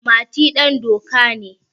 Mati dandoka ne.